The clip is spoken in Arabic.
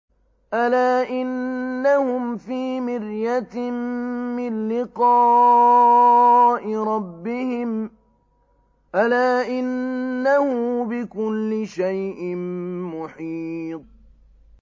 أَلَا إِنَّهُمْ فِي مِرْيَةٍ مِّن لِّقَاءِ رَبِّهِمْ ۗ أَلَا إِنَّهُ بِكُلِّ شَيْءٍ مُّحِيطٌ